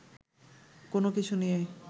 কোনো কিছু নিয়েই